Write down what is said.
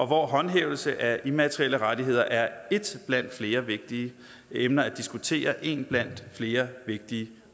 hvor håndhævelse af immaterielle rettigheder er ét blandt flere vigtige emner at diskutere én blandt flere vigtige